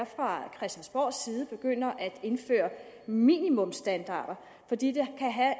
fra christiansborgs side begynder at indføre minimumsstandarder fordi det kan have